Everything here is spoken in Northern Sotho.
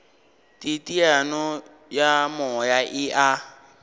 teteano ya moya e a